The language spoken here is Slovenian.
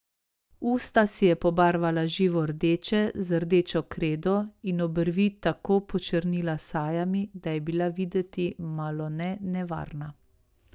Usta si je pobarvala živo rdeče z rdečo kredo in obrvi tako počrnila s sajami, da je bila videti malone nevarna.